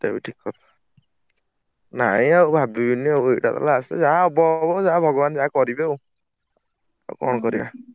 ସେଟା ବି ଠିକ୍ ନାଇଁ ଆଉ ଭାବିବିନି ଆଉ ଏଇଟାତ last ଯାହା ହବ ହବ| ଯାହା ଭଗବାନ ଯାହା କରିବେ ଆଉ ଆଉ କଣ କରିଆ?